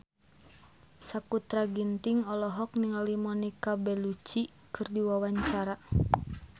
Sakutra Ginting olohok ningali Monica Belluci keur diwawancara